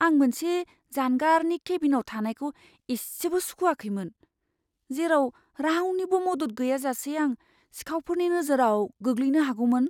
आं मोनसे जानगारनि केबिनआव थानायखौ एसेबो सुखुआखैमोन, जेराव रावनिबो मदद गैयाजासे आं सिखावफोरनि नोजोराव गोग्लैनो हागौमोन।